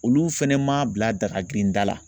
Olu fɛnɛ ma bila daga girinda la